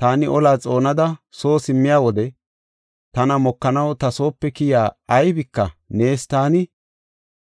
taani olaa xoonada soo simmiya wode tana mokanaw ta soope keyiya aybika neesa; taani